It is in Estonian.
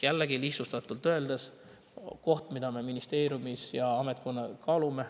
Jällegi, lihtsustatult öeldes on see asi, mida me ministeeriumis ametkonnana kaalume.